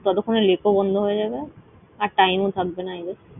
ততক্ষণে lake ও বন্ধ হয়ে যাবে। আর time ও থাকবেনা I guess ।